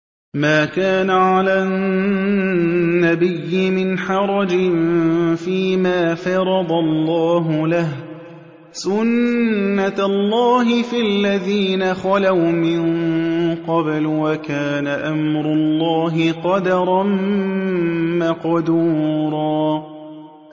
مَّا كَانَ عَلَى النَّبِيِّ مِنْ حَرَجٍ فِيمَا فَرَضَ اللَّهُ لَهُ ۖ سُنَّةَ اللَّهِ فِي الَّذِينَ خَلَوْا مِن قَبْلُ ۚ وَكَانَ أَمْرُ اللَّهِ قَدَرًا مَّقْدُورًا